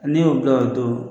Ne y'o dɔn o don